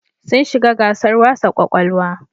Sun shiga gasar wasa ƙwaƙwalwa.